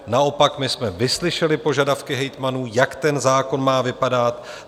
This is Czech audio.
Naopak, my jsme vyslyšeli požadavky hejtmanů, jak ten zákon má vypadat.